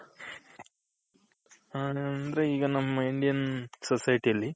ಹ್ಮ್ ಅಂದ್ರೆ ಈಗ ನಮ್ಮ Indian society ಅಲ್ಲಿ